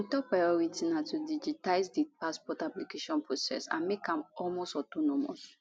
im top priority na to digitize di passport application process and make am almost autonomous